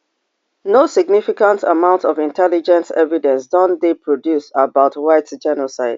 no significant amount of intelligence evidence don dey produced about white genocide